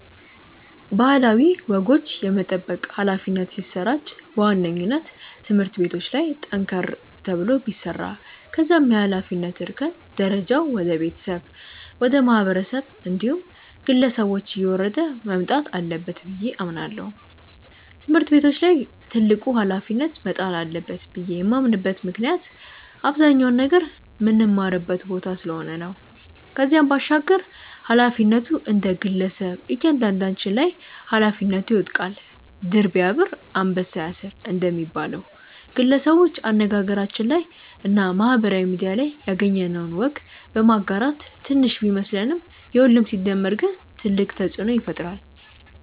ባህላዊ ወጎች የመጠበቅ ኃላፊነት ሲሰራጭ በዋነኝነት ትምህርት ቤቶች ላይ ጠንከር ተብሎ ቢሰራ ከዛም የኃላፊነት እርከን ደረጃው ወደ ቤተሰብ፣ ወደ ማህበረሰብ እንዲሁም ግለሰቦች እየወረደ መምጣት አለበት ብዬ አምናለው። ትምህርት ቤቶች ላይ ትልቁ ኃላፊነት መጣል አለበት ብዬ የማምንበት ምክንያት አብዛኛውን ነገር ምንማርበት ቦታ ስለሆነ ነው። ከዚህም ባሻገር ኃላፊነቱ እንደግለሰብ እያንዳንዳችን ላይ ኃላፊነቱ ይወድቃል። 'ድር ቢያብር አንበሳ ያስር' እንደሚባለው፣ ግለሰቦች አነጋገራችን ላይ እና ማህበራዊ ሚድያ ላይ ያገኘነውን ወግ በማጋራት ትንሽ ቢመስለንም የሁሉም ሲደመር ግን ትልቅ ተጽእኖ ይፈጥራል።